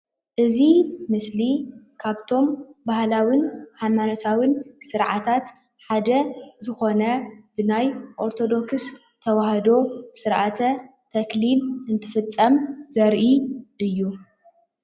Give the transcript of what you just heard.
እዚ ምስሊ ካብቶም ባህላውን ሃይማኖታውን ስርዓታት ሓደ ዝኮነ ብናይ ኦርተዶክስ ተዋህዶ ስርዓተ ተክሊል እንትፍፀም ዘርኢ እዩ፡፡